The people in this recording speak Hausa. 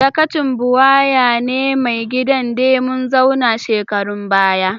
Dakacin Buwaya ne mai gidan de mun zauna shekarun baya.